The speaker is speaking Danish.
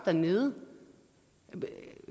dernede